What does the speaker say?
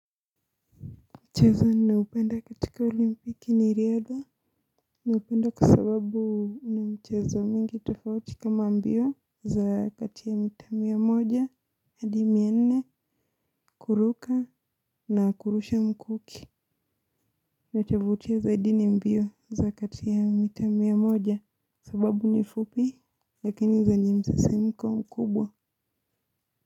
Mchezo ninaopenda katika olimpiki ni riadha. Naupenda kwa sababu una mchezo mingi tofauti kama mbio za kati ya mita mia moja hadi mia nne kuruka na kurusha mkuki. Nachovutia zaidi ni mbio za kati ya mita mia moja sababu ni fupi lakini zenye msisimko mkubwa.